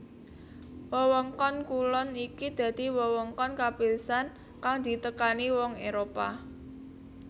Wewengkon kulon iki dadi wewengkon kapisan kang ditekani wong Éropah